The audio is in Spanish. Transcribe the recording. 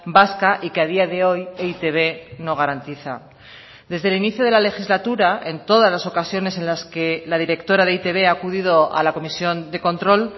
vasca y que a día de hoy e i te be no garantiza desde el inicio de la legislatura en todas las ocasiones en las que la directora de e i te be ha acudido a la comisión de control